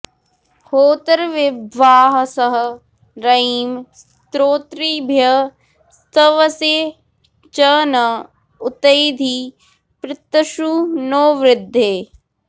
होत॑र्विभ्वा॒सहं॑ र॒यिं स्तो॒तृभ्यः॒ स्तव॑से च न उ॒तैधि॑ पृ॒त्सु नो॑ वृ॒धे